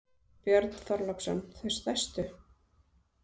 Björn Þorláksson: Þau stærstu?